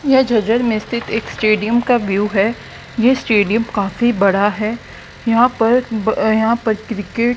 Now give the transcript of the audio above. यह झज्जर में स्थित एक स्टेडियम का व्यू है ये स्टेडियम काफी बड़ा है यहां पर यहां पर क्रिकेट --